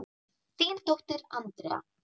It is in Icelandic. Þín dóttir, Andrea.